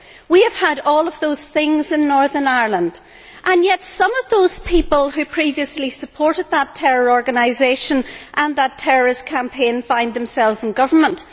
We have had all of those things in Northern Ireland and, yet, some of those people who previously supported that terror organisation and that terrorist campaign find themselves in government.